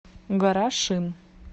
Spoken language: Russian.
гора шин